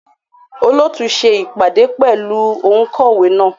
Olóòtú ṣe ìpàdé pẹ̀lú ònkọ̀wé náà.